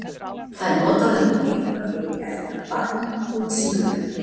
Það er notað um að eitthvað eigi eftir að batna þótt síðar verði.